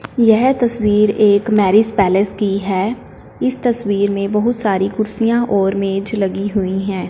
यह तस्वीर एक मैरिज पैलेस की है इस तस्वीर में बहुत सारी कुर्सियां और मेज लगी हुई है।